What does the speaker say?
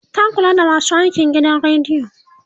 ta Kula da masu aikin gidan radiyon